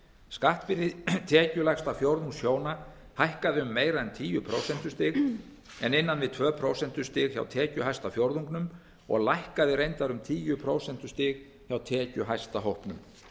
skattbyrði tekjulægsta fjórðungs hjóna hækkaði um meira en tíu prósentustig en innan við tvö prósentustig hjá tekjuhæsta fjórðungnum og lækkaði reyndar um tíu prósentustig hjá tekjuhæsta hópnum